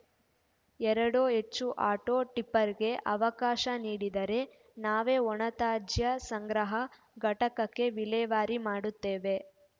ಎರಡೋ ಹೆಚ್ಚು ಆಟೋ ಟಿಪ್ಪರ್‌ಗೆ ಅವಕಾಶ ನೀಡಿದರೆ ನಾವೇ ಒಣತ್ಯಾಜ್ಯ ಸಂಗ್ರಹ ಘಟಕಕ್ಕೆ ವಿಲೇವಾರಿ ಮಾಡುತ್ತೇವೆ